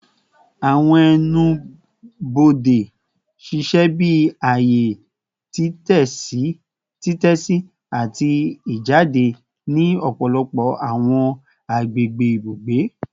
Awọn ẹnu-bode ṣiṣẹ bi aaye titẹsi ati ijade ni ọpọlọpọ awọn agbegbe ibugbe